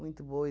boa e